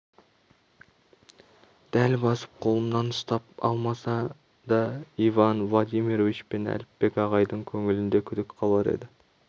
дәл басып қолымнан ұстап алмаса да иван владимирович пен әліпбек ағайдың көңілінде күдік қалар еді